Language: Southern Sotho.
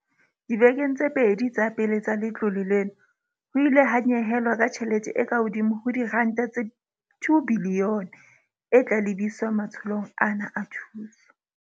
Dibekeng tse pedi tsa pele tsa letlole lena, ho ile ha nyehelwa ka tjhelete e ka hodimo ho R2 bilione, e tla lebiswa matsholong ana a thuso.